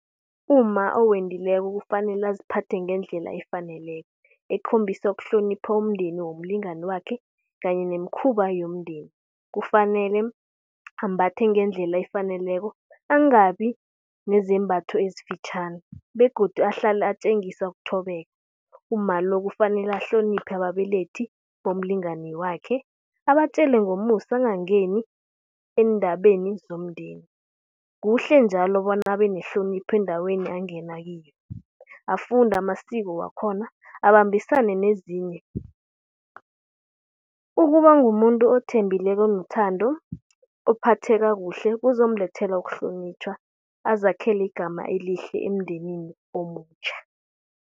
Umma owendileko kufanele aziphathe ngendlela efaneleko. Ekhombisa ukuhlonipha umndeni womlingani wakhe kanye nemikhuba yomndeni, kufanele ambathe ngendlela efaneleko angabi nezembatho ezifitjhani begodu ahlale atjengisa ukuthobeka. Umma lo kufanele ahloniphe ababelethi bomlingani wakhe abatjele ngomusa angangeni eendabeni zomndeni. Kuhle njalo bona abe nehlonipho endaweni angena kiyo, afunde amasiko wakhona abambisane nezinye. Ukuba ngumuntu othembileko nethando ophatheka kuhle kuzomlethela ukuhlonitjhwa, azakhele igama elihle emndenini omutjha.